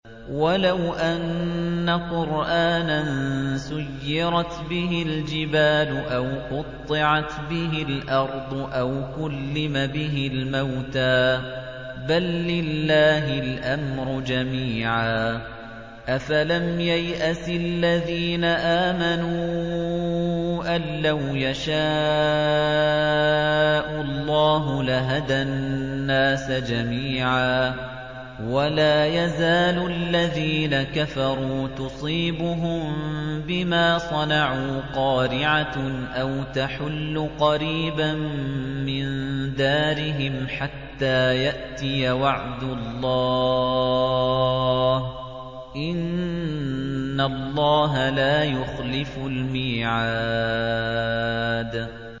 وَلَوْ أَنَّ قُرْآنًا سُيِّرَتْ بِهِ الْجِبَالُ أَوْ قُطِّعَتْ بِهِ الْأَرْضُ أَوْ كُلِّمَ بِهِ الْمَوْتَىٰ ۗ بَل لِّلَّهِ الْأَمْرُ جَمِيعًا ۗ أَفَلَمْ يَيْأَسِ الَّذِينَ آمَنُوا أَن لَّوْ يَشَاءُ اللَّهُ لَهَدَى النَّاسَ جَمِيعًا ۗ وَلَا يَزَالُ الَّذِينَ كَفَرُوا تُصِيبُهُم بِمَا صَنَعُوا قَارِعَةٌ أَوْ تَحُلُّ قَرِيبًا مِّن دَارِهِمْ حَتَّىٰ يَأْتِيَ وَعْدُ اللَّهِ ۚ إِنَّ اللَّهَ لَا يُخْلِفُ الْمِيعَادَ